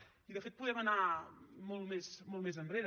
i de fet podem anar molt més enrere